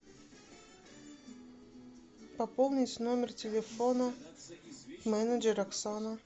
пополнить номер телефона менеджер оксана